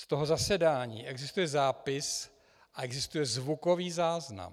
Z toho zasedání existuje zápis a existuje zvukový záznam.